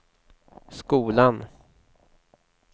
skolan